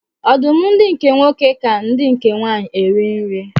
Ọdụm ndi nke nwoke ka ndi nke nwanyi eri nri.